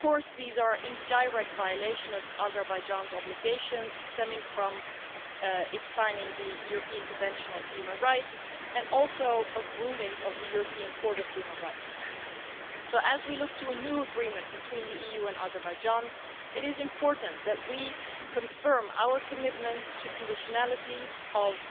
These are in direct violation of Azerbaijan's obligations stemming from its signing of the European Convention of Human Rights and also the rulings of the European Court of Human Rights. So as we look to a new agreement between the EU and Azerbaijan, it is important that we confirm our commitment to the conditionality of